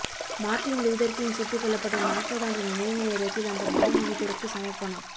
Martin Luther King சுட்டுக்கொல்லப்பட்ட நாற்பதாண்டு நினைவு நேரத்தில் அந்த மாமனிதருக்குச் சமர்ப்பணம்